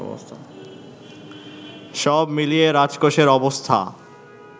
সব মিলিয়ে রাজকোষের অবস্থা